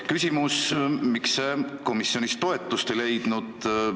Küsimus: miks see komisjonis toetust ei leidnud?